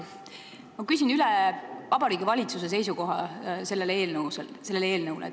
Ma küsin üle Vabariigi Valitsuse seisukoha selle eelnõu suhtes.